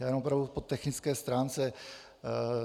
Já jen opravdu po technické stránce.